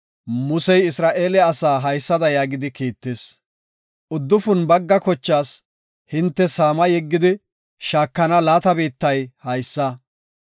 Musey Isra7eele asaa haysada yaagidi Kiittis; “Uddufun bagga kochaas hinte saama yeggidi shaakana laata biittay haysa.